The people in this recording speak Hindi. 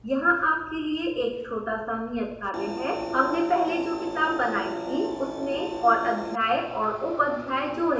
यहाँ आपके लिए एक छोटा सा नियतकार्य है